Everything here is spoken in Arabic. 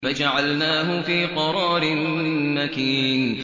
فَجَعَلْنَاهُ فِي قَرَارٍ مَّكِينٍ